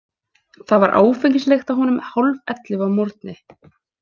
Það var áfengislykt af honum hálfellefu að morgni.